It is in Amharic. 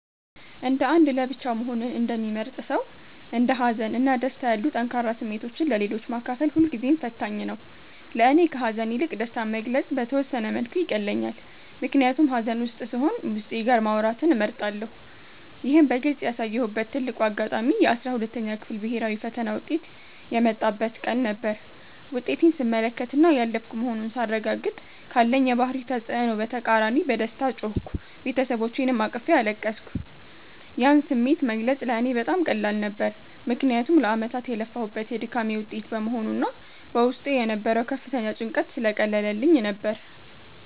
እንደ አንድ ለብቻው መሆንን እንደሚመርጥ ሰው፣ እንደ ሀዘን እና ደስታ ያሉ ጠንካራ ስሜቶችን ለሌሎች ማካፈል ሁልጊዜም ፈታኝ ነው። ለእኔ ከሐዘን ይልቅ ደስታን መግለጽ በተወሰነ መልኩ ይቀለኛል፤ ምክንያቱም ሐዘን ውስጥ ስሆን ዉስጤ ጋር ማውራትን እመርጣለሁ። ይህን በግልጽ ያሳየሁበት ትልቁ አጋጣሚ የ12ኛ ክፍል ብሔራዊ ፈተና ውጤት የመጣበት ቀን ነበር። ውጤቴን ስመለከትና ያለፍኩ መሆኑን ሳረጋግጥ፤ ካለኝ የባህሪ ተጽዕኖ በተቃራኒ በደስታ ጮህኩ፤ ቤተሰቦቼንም አቅፌ አለቀስኩ። ያን ስሜት መግለጽ ለእኔ በጣም ቀላል ነበር፤ ምክንያቱም ለዓመታት የለፋሁበት የድካሜ ውጤት በመሆኑና በውስጤ የነበረው ከፍተኛ ጭንቀት ስለቀለለልኝ ነበር።